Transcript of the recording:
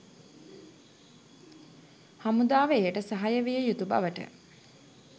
හමුදාව එයට සහාය විය යුතු බවට